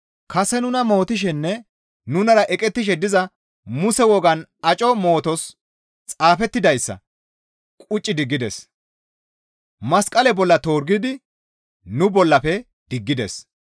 Kase nuna mootishenne nunara eqettishe diza Muse wogaan aco mootos xaafettidayssa qucci diggides. Masqale bolla torgidi nu bollafe diggides.